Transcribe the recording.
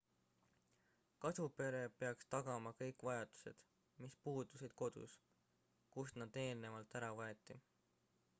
kasupere peaks tagama kõik vajadused mis puudusid kodus kust nad eelnevalt ära võeti